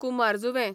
कुमारजुंवें